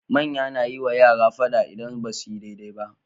Manya nayi wa yara fada idan basuyi dai dai ba